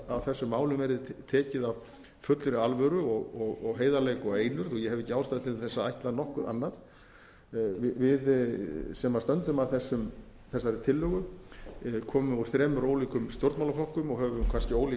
á þessum málum verði tekið að fullri alvöru og heiðarleik og einurð og ég hef ekki ástæðu til þess að ætla nokkuð annað við sem stöndum að þessari tillögu komum úr þremur ólíkum stjórnmálaflokkum og höfum kannski ólík